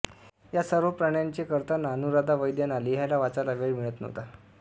या सर्व प्राण्यांचे करताना अनुराधा वैद्यांना लिहायला वाचायला वेळ मिळत नव्हता